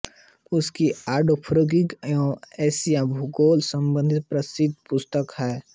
उसकी autography of Asia भूगोल संबंधी प्रसिद्ध पुस्तक है